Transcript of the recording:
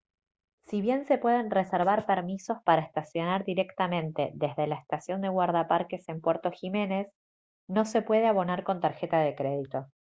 si bien se pueden reservar permisos para estacionar directamente desde la estación de guardaparques en puerto jiménez no se puede abonar con tarjeta de crédito